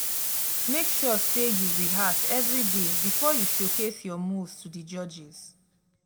make sure say you rehearse every day before you showcase your moves to di judges